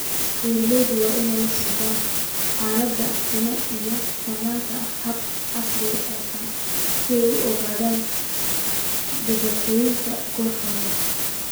Beeraleydu waa inay la socdaan xaaladda finan iyagoo isticmaalaya habab casri ah si ay u ogaadaan dhibaatooyinka goor hore.